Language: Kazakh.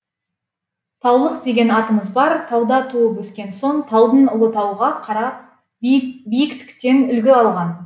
таулық деген атымыз бар тауда туып өскен соң таудың ұлы тауға қарап биіктіктен үлгі алған